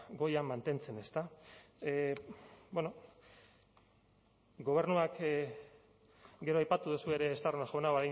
goian mantentzen ezta bueno gobernuak gero aipatu duzue ere estarrona jauna